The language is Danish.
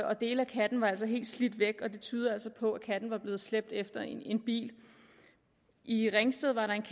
og dele af katten var altså helt slidt væk og det tyder altså på at katten var blevet slæbt efter en bil i ringsted var der en